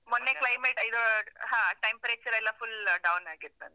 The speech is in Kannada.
ಮೊನ್ನೆ climate ಇದು ಹ, temperature ರೆಲ್ಲ full down ಆಗಿತ್ತಂತೆ.